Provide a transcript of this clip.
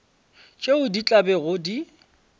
tšeo di tla bego di